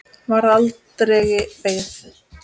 Varð aldregi beygð.